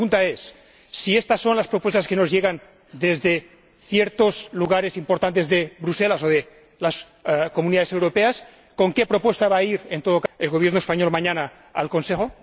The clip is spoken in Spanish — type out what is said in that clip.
Mi pregunta es si estas son las propuestas que nos llegan desde ciertos lugares importantes, desde Bruselas o las Comunidades Europeas, ¿con qué propuesta va a ir el Gobierno español mañana, al Consejo?